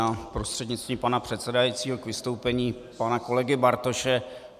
Já prostřednictvím pana předsedajícího k vystoupení pana kolegy Bartoše.